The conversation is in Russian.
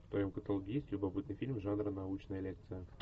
в твоем каталоге есть любопытный фильм жанра научная лекция